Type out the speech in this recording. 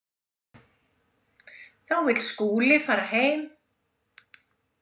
Þá vill Skúli fara heim.